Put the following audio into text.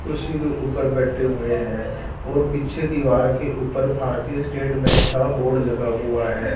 कुर्सी के ऊपर बैठे हुए हैं और पीछे दीवार के ऊपर भारतीय स्टेट बैंक का बोर्ड लगा हुआ है।